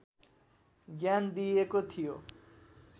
ज्ञान दिइएको थियो